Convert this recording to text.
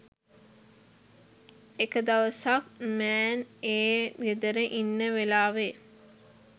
එක දවසක් මෑන් ඒ ගෙදර ඉන්න වෙලාවෙ